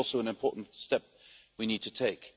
This is also an important step we need to take.